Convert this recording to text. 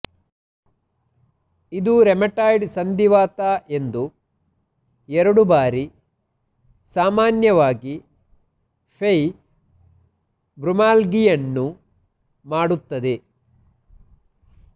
ಇದು ರೆಮಟಾಯ್ಡ್ ಸಂಧಿವಾತ ಎಂದು ಎರಡು ಬಾರಿ ಸಾಮಾನ್ಯವಾಗಿ ಫೈಬ್ರೊಮ್ಯಾಲ್ಗಿಯನ್ನು ಮಾಡುತ್ತದೆ